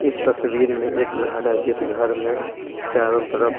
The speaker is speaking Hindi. इस तस्वीर में एक घर है जिस घर में चारों तरफ--